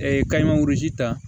kayi magozi ta